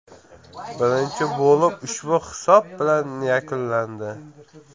Birinchi bo‘lim ushbu hisob bilan yakunlandi.